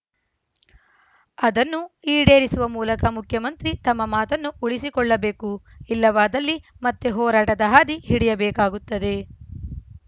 ಅದನ್ನು ಈಡೇರಿಸುವ ಮೂಲಕ ಮುಖ್ಯಮಂತ್ರಿ ತಮ್ಮ ಮಾತನ್ನು ಉಳಿಸಿಕೊಳ್ಳಬೇಕು ಇಲ್ಲವಾದಲ್ಲಿ ಮತ್ತೆ ಹೋರಾಟದ ಹಾದಿ ಹಿಡಿಯಬೇಕಾಗುತ್ತದೆ